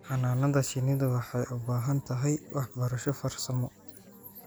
Xannaanada shinnidu waxay u baahan tahay waxbarasho farsamo.